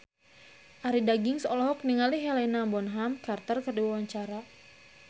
Arie Daginks olohok ningali Helena Bonham Carter keur diwawancara